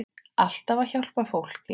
Alltaf að hjálpa fólki.